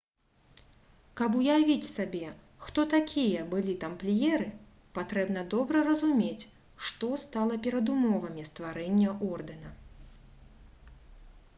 каб уявіць сабе хто такія былі тампліеры патрэбна добра разумець што стала перадумовамі стварэння ордэна